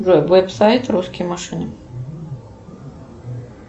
джой веб сайт русские машины